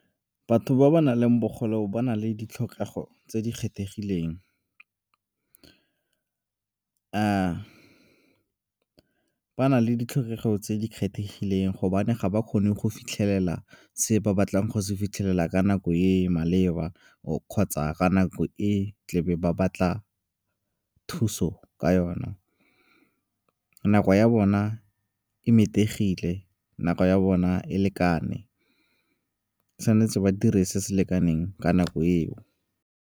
Batho ba ba nang le bogole ba na le ditlhokego tse di kgethegileng. Ba na le ditlhokego tse di kgethegileng gobane ga ba kgone go fitlhelela se ba batlang go se fitlhelela ka nako e maleba kgotsa ka nako e tlebe ba batla thuso ka yona. Nako ya bona e metegile, nako ya bona e lekane, tshwanetse ba dire se se lekaneng ka nako eo.